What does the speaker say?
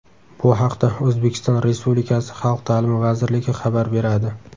Bu haqda O‘zbekiston Respublikasi Xalq ta’limi vazirligi xabar beradi .